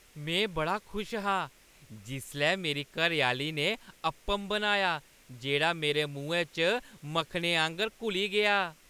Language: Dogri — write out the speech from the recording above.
में बड़ा खुश हा जिसलै मेरी घरैआह्‌ली ने अप्पम बनाया जेह्ड़ा मेरे मुहैं च मक्खनै आंह्गर घुली गेआ।